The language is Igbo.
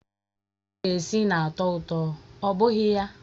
Anụ esiri esi na-atọ ụtọ, ọ bụghị ya?